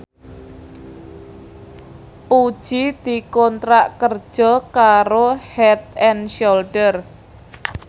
Puji dikontrak kerja karo Head and Shoulder